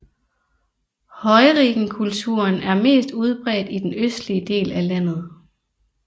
Heurigenkulturen er mest udbredt i den østlige del af landet